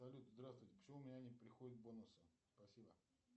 салют здравствуйте почему у меня не приходят бонусы спасибо